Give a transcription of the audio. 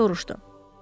Qəzetçi soruşdu.